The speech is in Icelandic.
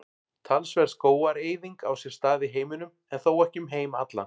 Talsverð skógareyðing á sér stað í heiminum en þó ekki um heim allan.